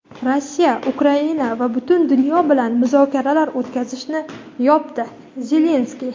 Rossiya Ukraina va butun dunyo bilan muzokaralar o‘tkazishni yopadi – Zelenskiy.